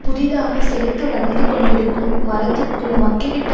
புதிதாக செழித்து வளர்ந்து கொண்டிருக்கும் மரத்திற்கும் மக்கிவிட்ட